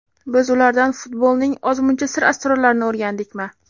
Biz ulardan futbolning ozmuncha sir-asrorlarini o‘rgandikmi?